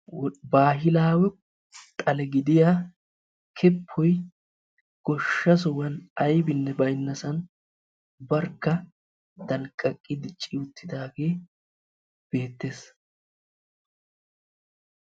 Baahilawe xale gidiya keppoy goshsha sohuwan aybinne baynnasan barkka danqqaqi dicci uttidaage beettes.